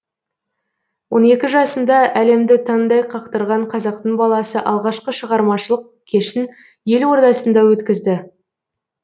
он екі жасында әлемді таңдай қақтырған қазақтың баласы алғашқы шығармашылық кешін ел ордасында өткізді